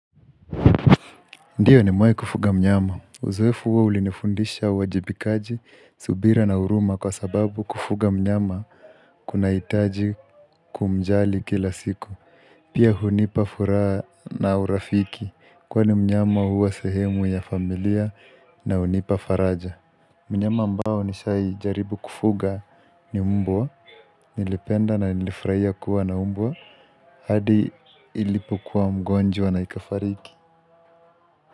Ndio nimewahi kufuga mnyama, uzoefu huo ulinifundisha uwajibikaji, subira na huruma kwa sababu kufuga mnyama kunahitaji kumjali kila siku Pia hunipa furaha na urafiki kwani mnyama huwa sehemu ya familia na hunipa faraja. Mnyama ambao nishaijaribu kufuga ni mbwa Nilipenda na nilifurahia kuwa na mbwa hadi ilipokuwa mgonjwa na ikafariki.